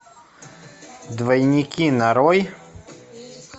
двойники нарой